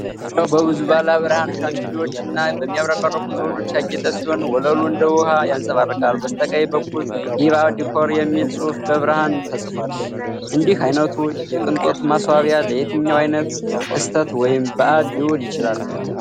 ሪያው በብዙ ባለብርሃን ሻንደሊየሮች እና በሚያብረቀርቁ ዘውዶች ያጌጠ ሲሆን፣ ወለሉ እንደ ውሃ ያንጸባርቃል። በበስተቀኝ በኩል “Diva Décor” የሚል ጽሑፍ በብርሃን ተጽፏል። እንዲህ ዓይነቱ የቅንጦት ማስዋቢያ ለየትኛው ዓይነት ክስተት ወይም በዓል ሊውል ይችላል?